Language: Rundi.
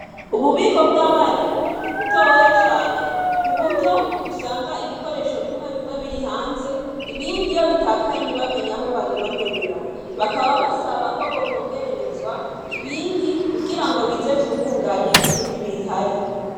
Ububiko vyabarimu ni butoya cane kuburyo usanga ibikoresho bimwe biri hanze ibindi iyo bitakaye ntiwamenye aho babironderera. Bakaba basaba ko bokongererezwa ibindi ngo kugira bize vyungungange ibindi bihari.